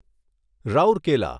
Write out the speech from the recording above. Rourkela